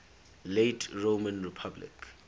late roman republic